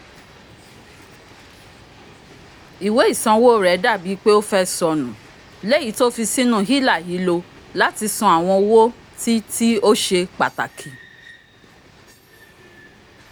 ìwé isanwo rẹ dabi pe ofẹ́ sọnu l'eyi to fí sínú hila-hilo lati sàn awọn owó tí tí o ṣe pataki